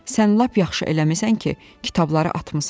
Sən lap yaxşı eləmisən ki, kitabları atmısan.